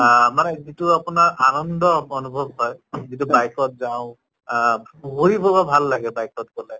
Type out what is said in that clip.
আহ মানে যিটো আপোনাৰ আনন্দ অনুভৱ হয় যিটো bike ত যাওঁ আহ ভাল লাগে bike ত গʼলে